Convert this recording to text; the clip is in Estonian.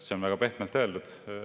See on väga pehmelt öeldud.